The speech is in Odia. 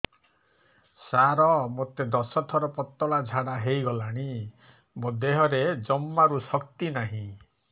ସାର ମୋତେ ଦଶ ଥର ପତଳା ଝାଡା ହେଇଗଲାଣି ମୋ ଦେହରେ ଜମାରୁ ଶକ୍ତି ନାହିଁ